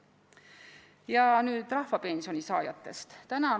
Ja nüüd rahvapensioni saajatest.